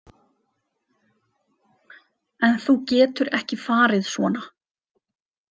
En þú getur ekki farið svona.